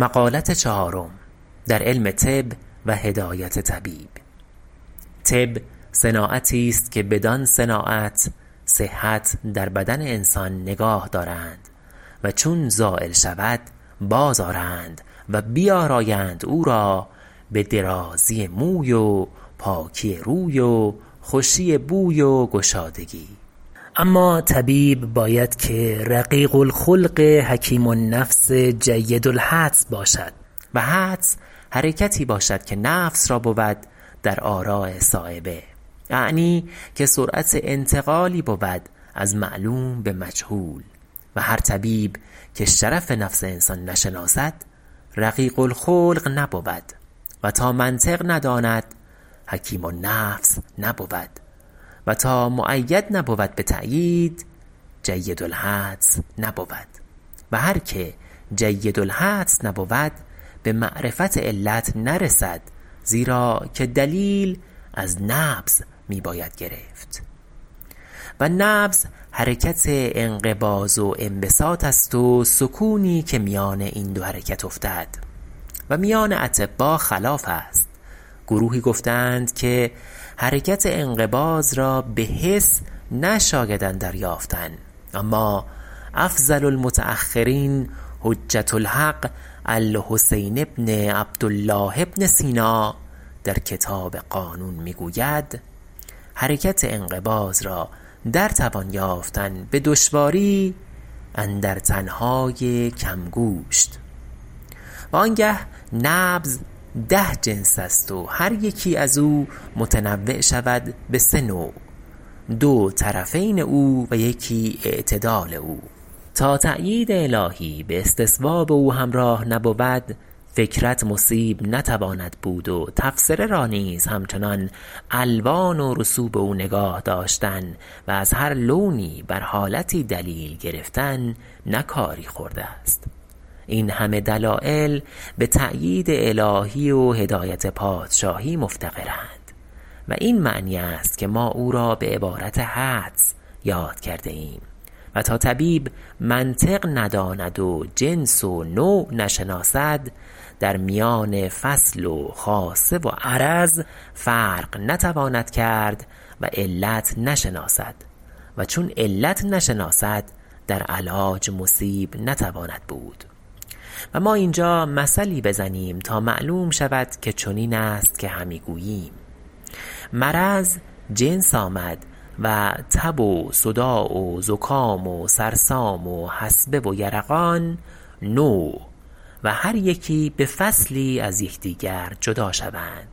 طب صناعتی است که بدان صناعت صحت در بدن انسان نگاه دارند و چون زایل شود باز آرند و بیارایند او را به درازی موی و پاکی روی و خوشی بوی و گشادگی اما طبیب باید که رقیق الخلق حکیم النفس جید الحدس باشد و حدس حرکتی باشد که نفس را بود در آراء صایبه اعنی که سرعت انتقالی بود از معلوم به مجهول و هر طبیب که شرف نفس انسان نشناسد رقیق الخلق نبود و تا منطق نداند حکیم النفس نبود و تا مؤید نبود به تأیید جید الحدس نبود و هر که جید الحدس نبود به معرفت علت نرسد زیرا که دلیل از نبض می باید گرفت و نبض حرکت انقباض و انبساط است و سکونی که میان این دو حرکت افتد و میان اطبا خلاف است گروهی گفته اند که حرکت انقباض را به حس نشاید اندر یافتن اما افضل المتأخرین حجة الحق الحسین بن عبدالله بن سینا در کتاب قانون می گوید حرکت انقباض را در توان یافتن به دشواری اندر تن های کم گوشت و آنگه نبض ده جنس است و هر یکی از او متنوع شود به سه نوع دو طرفین او و یکی اعتدال او تا تأیید الهی به استصواب او همراه نبود فکرت مصیب نتواند بود و تفسره را نیز همچنان الوان و رسوب او نگاه داشتن و از هر لونی بر حالتی دلیل گرفتن نه کاری خرد است این همه دلایل به تأیید الهی و هدایت پادشاهی مفتقرند و این معنی است که ما او را به عبارت حدس یاد کرده ایم و تا طبیب منطق نداند و جنس و نوع نشناسد در میان فصل و خاصه و عرض فرق نتواند کرد و علت نشناسد و چون علت نشناسد در علاج مصیب نتواند بود و ما اینجا مثلی بزنیم تا معلوم شود که چنین است که همی گوییم مرض جنس آمد و تب و صداع و زکام و سرسام و حصبه و یرقان نوع و هر یکی به فصلی از یکدیگر جدا شوند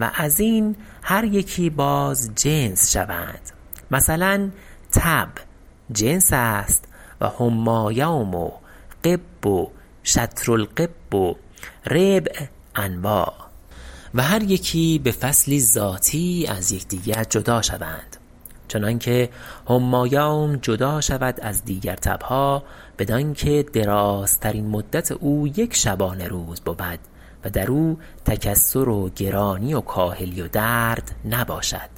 و از این هر یکی باز جنس شوند مثلا تب جنس است و حمی یوم و غب و شطر الغب و ربع انواع و هر یکی به فصلی ذاتی از یکدیگر جدا شوند چنان که حمی یوم جدا شود از دیگر تب ها بدان که درازترین مدت او یک شبانه روز بود و در او تکسر و گرانی و کاهلی و درد نباشد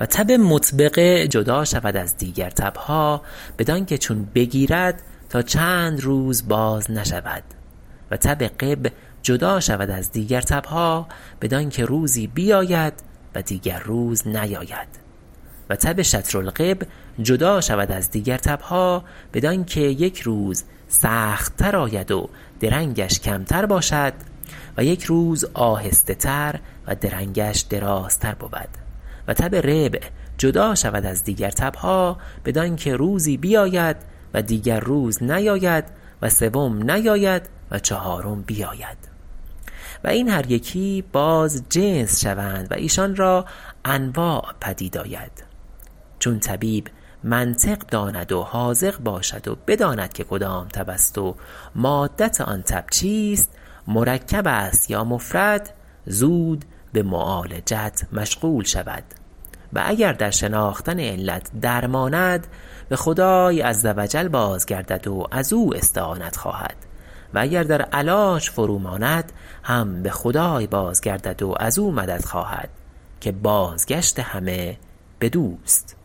و تب مطبقه جدا شود از دیگر تب ها بدان که چون بگیرد تا چند روز باز نشود و تب غب جدا شود از دیگر تب ها بدان که روزی بیاید و دیگر روز نیاید و تب شطر الغب جدا شود از دیگر تب ها بدان که یک روز سخت تر آید و درنگش کمتر باشد و یک روز آهسته تر و درنگش درازتر بود و تب ربع جدا شود از دیگر تب ها بدان که روزی بیاید و دیگر روز نیاید و سوم نیاید و چهارم بیاید و این هر یکی باز جنس شوند و ایشان را انواع پدید آید چون طبیب منطق داند و حاذق باشد و بداند که کدام تب است و مادت آن تب چیست مرکب است یا مفرد زود به معالجت مشغول شود و اگر در شناختن علت در ماند به خدای عز وجل باز گردد و از او استعانت خواهد و اگر در علاج فرو ماند هم به خدای باز گردد و از او مدد خواهد که بازگشت همه بدوست